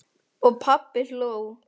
Og pabbi hló.